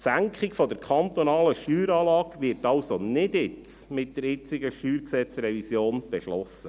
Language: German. Die Senkung der kantonalen Steueranlage wird also nicht jetzt, mit der jetzigen StG-Revision, beschlossen.